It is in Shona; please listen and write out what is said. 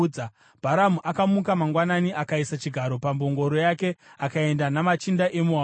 Bharamu akamuka mangwanani, akaisa chigaro pambongoro yake akaenda namachinda eMoabhu.